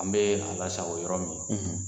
An bɛ a lasago yɔrɔ min